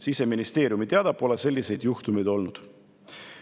Siseministeeriumi teada pole selliseid juhtumeid olnud.